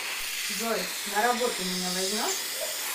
джой на работу меня возьмешь